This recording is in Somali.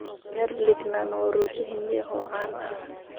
Garlic naan waa rooti Hindi ah oo caan ah.